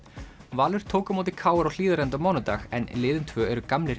Valur tók á móti k r á Hlíðarenda á mánudag en liðin tvö eru gamlir